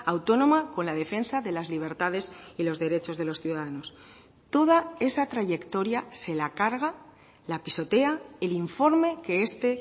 autónoma con la defensa de las libertades y los derechos de los ciudadanos toda esa trayectoria se la carga la pisotea el informe que este